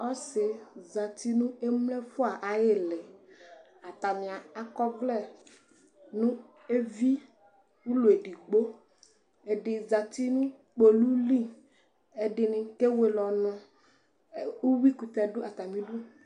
Ɔsi zati nu emlo ɛfua ayilɩ atani akɔ ɔvlɛ nu evi ʊlɔ edigbo ɛdini zati nʊ ƙpolʊli ɛdinɩ kewele ɔnʊ ʊyuikʊtɛ du atamidu